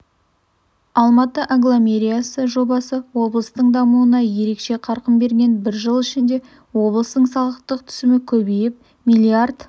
алматы агломерациясы жобасы облыстың дамуына ерекше қарқын берген бір жыл ішінде облыстың салықтық түсімі көбейіп миллиард